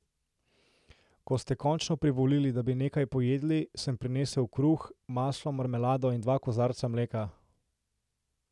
Ko sta končno privolili, da bi nekaj pojedli, sem prinesel kruh, maslo, marmelado in dva kozarca mleka.